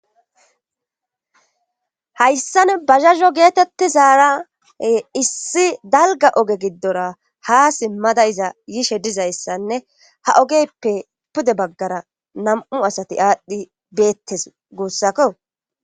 Hayssan bazazo geetettizaara issi dalgga oge giddora ha simmada iza yishe diza issanne ha ogeyppe pude baggara nam'u asati aadhdhi beettes guussakko.